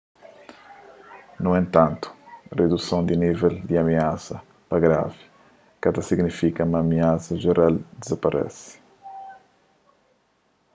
nu entantu riduson di nível di amiasa pa gravi ka ta signifika ma amiasa jeral dizaparese